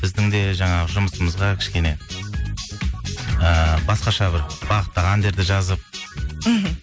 біздің де жаңағы жұмысымызға кішкене ііі басқаша бір бағыттағы әндерді жазып мхм